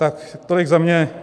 Tak tolik za mě.